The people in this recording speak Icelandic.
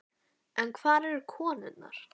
En hvar eru konurnar?